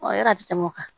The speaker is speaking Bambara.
Ɔ yala a bɛ tɛmɛ o kan